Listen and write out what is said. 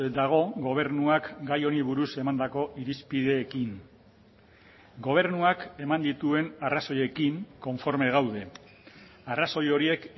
dago gobernuak gai honi buruz emandako irizpideekin gobernuak eman dituen arrazoiekin konforme gaude arrazoi horiek